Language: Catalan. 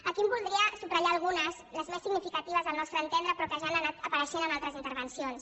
aquí en voldria subratllar algunes les més significatives al nostre entendre però que ja han anat apareixent en altres intervencions